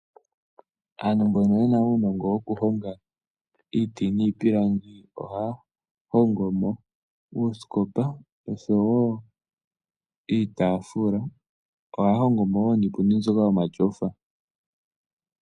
Aantu mbono yena uunongo wokuhonga iiti niipilangi ohaya hongo mo uusikopa osho wo iitaafula ohaya hongo mo wo niipundi mbyoka yomatyofa.